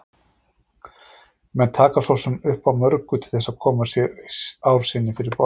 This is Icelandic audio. Menn taka svo sem upp á mörgu til þess að koma ár sinni fyrir borð.